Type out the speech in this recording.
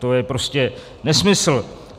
To je prostě nesmysl.